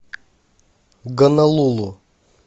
гонолулу